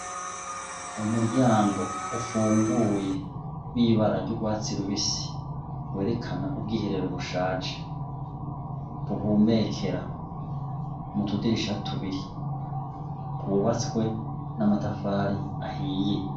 Umuryang' ufunguye wibara ry' urwatsi rubisi werekan' ubwiherero bushaje, buhumekera mutudirisha tubiri, y' ubatswe n' amatafar' ahiye.